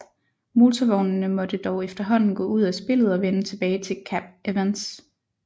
Motorvognene måtte dog efterhånden gå ud af spillet og vende tilbage til Kap Evans